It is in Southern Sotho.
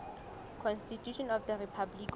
constitution of the republic of